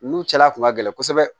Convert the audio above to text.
Ninnu cɛla kun ka gɛlɛn kosɛbɛ